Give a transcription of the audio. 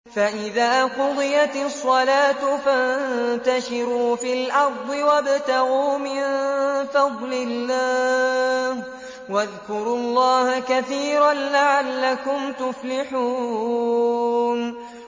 فَإِذَا قُضِيَتِ الصَّلَاةُ فَانتَشِرُوا فِي الْأَرْضِ وَابْتَغُوا مِن فَضْلِ اللَّهِ وَاذْكُرُوا اللَّهَ كَثِيرًا لَّعَلَّكُمْ تُفْلِحُونَ